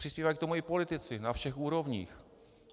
Přispívají k tomu i politici na všech úrovních.